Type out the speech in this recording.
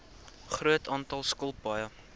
groot aantal skilpaaie